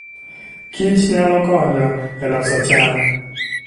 kich nyalo konyo e loso cham.